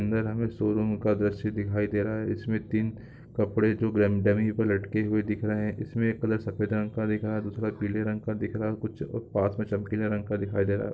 जहाँ सब कुछ पीला दिख रहा है या तीन पुरुषों की पोशाक है या पृष्ठभूमि सफेद है या टेबल है।